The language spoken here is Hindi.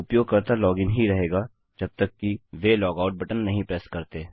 उपयोगकर्ता यूजर लॉगइन ही रहेगा जब तक कि वे लॉगआउट बटन प्रेस नहीं करते